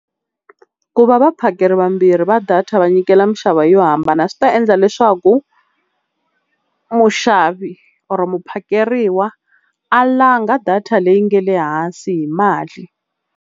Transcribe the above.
Ku va vaphakeri vambirhi va data va nyikela minxavo yo hambana swi ta endla leswaku muxavi or muphakeriwa a langha data leyi nga le hansi hi mali.